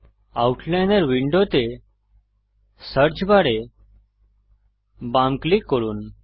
আউটলাইনর উইন্ডোতে সার্চ বারে বাম ক্লিক করুন